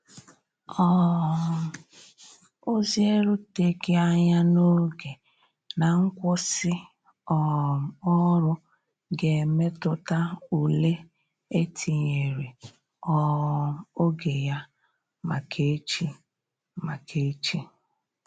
um Ozi e ruteghi anya n'oge na nkwụsi um ọrụ ga emetụta ụle etinyere um oge ya maka echi. maka echi.